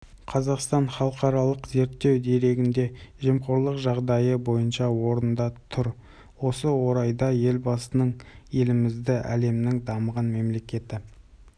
қазақстан халықаралық зерттеу дерегінде жемқорлық жағдайы бойынша орында тұр осы орайда елбасының елімізді әлемнің дамыған мемлекеті